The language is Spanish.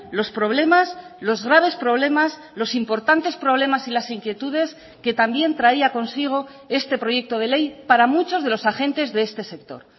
los problemas los graves problemas los importantes problemas y las inquietudes que también traía consigo este proyecto de ley para muchos de los agentes de este sector